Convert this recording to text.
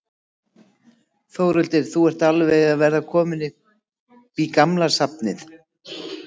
Þórhildur: Þú ert alveg að verða kominn upp í gamla safnið?